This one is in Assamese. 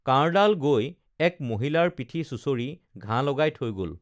কাঁড়ডাল গৈ এক মহিলাৰ পিঠি চুঁচৰি ঘাঁ লগাই থৈ গল